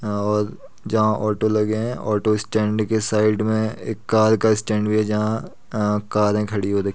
हाँ और जहां ओटो लगें है ऑटो स्टेण्ड के साइड में एक कार का स्टैण्ड भी है जहां कारें खड़ी हो रख --